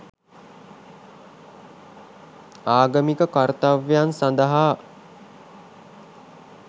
ආගමික කර්තව්‍යයන් සඳහා